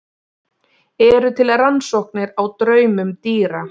Eru til rannsóknir á draumum dýra?